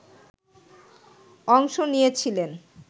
অংশ নিয়েছিলেন